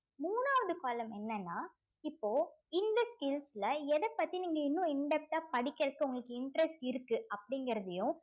மூணாவது column என்னன்னா இப்போ இந்த skills ல எதப்பத்தி நீங்க இன்னும் in depth ஆ படிக்கிறதுக்கு உங்களுக்கு interest இருக்கு அப்படிங்கிறதையும்